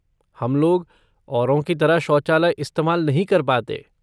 हम लोग, औरों की तरह शौचालय इस्तेमाल नहीं कर पाते।